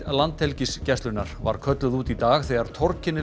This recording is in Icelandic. Landhelgisgæslunnar var kölluð út í dag þegar